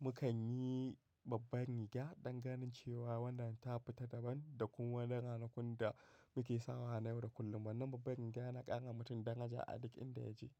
mukanyi babban riga danganin cewa wannan ta fita daban da kuma wannan ranakun da muke sawa hanyar da kullum. Wannan babban rigya na ƙara mutum daraja a duk inda ya je.